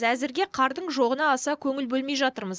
әзірге қардың жоғына аса көңіл бөлмей жатырмыз